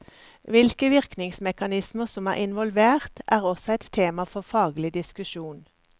Hvilke virkningsmekanismer som er involvert, er også et tema for faglig diskusjon.